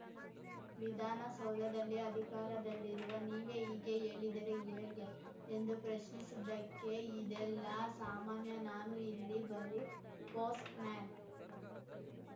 ವಿಧಾನಸೌಧದಲ್ಲಿ ಅಧಿಕಾರದಲ್ಲಿರುವ ನೀವೇ ಈಗೆ ಏಳಿದರೆ ಏಗೆ ಎಂದು ಪ್ರಶ್ನಿಸಿದ್ದಕ್ಕೆ ಇದೆಲ್ಲಾ ಸಾಮಾನ್ಯ ನಾನು ಇಲ್ಲಿ ಬರೀ ಪೋಸ್ಟ್‌ ಮ್ಯಾನ್‌